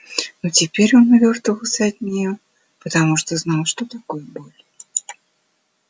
но теперь он увёртывался от неё потому что знал что такое боль